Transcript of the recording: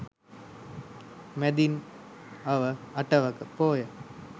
මැදින් අව අටවක පෝය